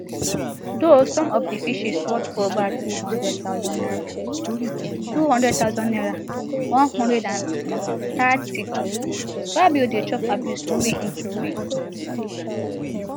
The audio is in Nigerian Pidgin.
though some of di fishes worth ova two hundred thousand naira two hundred thousand naira one hundred and thirty fabio dey chop abuse wen e throway